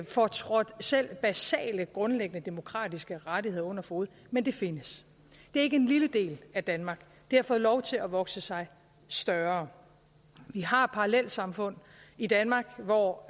får trådt selv basale grundlæggende demokratiske rettigheder under fode men det findes det er ikke en lille del af danmark det har fået lov til at vokse sig større vi har parallelsamfund i danmark hvor